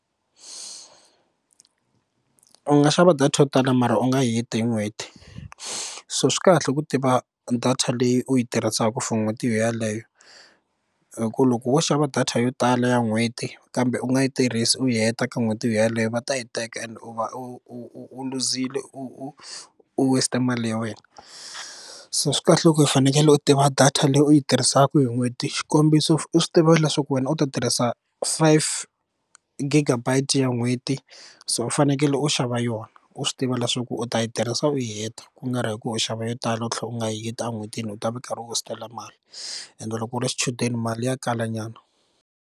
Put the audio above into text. U nga xava data yo tala mara u nga yi heti hi n'hweti so swi kahle ku tiva data leyi u yi tirhisaka for n'hweti yona yaleyo hi ku loko wo xava data yo tala ya n'hweti kambe u nga yi tirhisi u yi heta ka n'hweti yeleyo va ta yi teka and u va u luzile u u waste mali ya wena so swi kahle loko u fanekele u tiva data leyi u yi tirhisaka hi n'hweti xikombiso u swi tiva leswaku wena u ta tirhisa five gigabytes ya n'hweti so u fanekele u xava yona u swi tiva leswaku u ta yi tirhisa u yi heta ku nga ri hi ku u xava yo tala u tlhela u nga yi heti en'hwetini u ta va u karhi u waste na mali ende loko u ri xichudeni mali ya kalanyana.